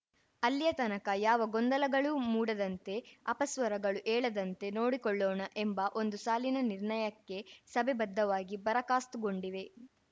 ಅಲ್ಲಿಯ ತನಕ ಯಾವ ಗೊಂದಲಗಳೂ ಮೂಡದಂತೆ ಅಪಸ್ವರಗಳು ಏಳದಂತೆ ನೋಡಿಕೊಳ್ಳೋಣ ಎಂಬ ಒಂದು ಸಾಲಿನ ನಿರ್ಣಯಕ್ಕೆ ಸಭೆ ಬದ್ದವಾಗಿ ಬರಕಾಸ್ತು ಗೊಂಡಿದೆ